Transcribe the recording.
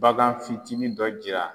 Bagan fitinin dɔ jira